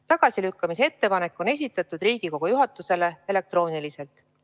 Tagasilükkamise ettepanek on esitatud Riigikogu juhatusele elektrooniliselt.